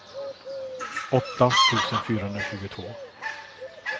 åtta tusen fyrahundratjugotvå